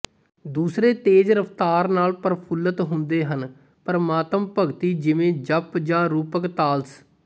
ਦੂਸਰੇ ਤੇਜ਼ ਰਫਤਾਰ ਨਾਲ ਪ੍ਰਫੁੱਲਤ ਹੁੰਦੇ ਹਨ ਪ੍ਰਮਾਤਮ ਭਗਤੀ ਜਿਵੇਂ ਝਪ ਜਾਂ ਰੂਪਕ ਤਾਲਸ